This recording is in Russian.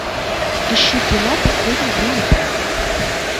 ищи кино последний бронепоезд